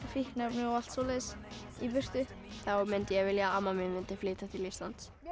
fíkniefni og allt svoleiðis í burtu þá mundi ég vilja að amma mín mundi flytja til Íslands mér